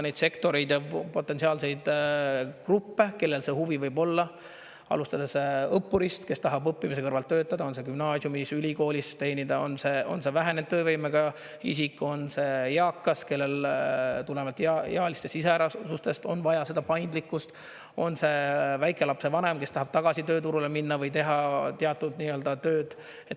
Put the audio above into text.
Neid sektoreid, potentsiaalseid gruppe, kellel see huvi võib olla, alustades õppurist, kes tahab õppimise kõrvalt töötada, on see gümnaasiumis või ülikoolis, on see vähenenud töövõimega isik, on see eakas, kellel tulenevalt ealistest iseärasustest on vaja paindlikkust, on see väikelapse vanem, kes tahab tagasi tööturule minna või teha teatud tööd.